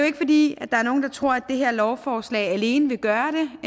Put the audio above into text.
ikke fordi der er nogen der tror det her lovforslag alene vil gøre